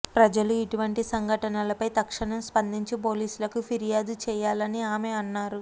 ప్రజలు ఇటువంటి సంఘటనలపై తక్షణం స్పందించి పోలీసులకు ఫిర్యాదు చేయాలని ఆమె అన్నారు